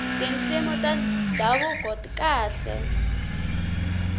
tinsimu ta ndhavuko ti kahle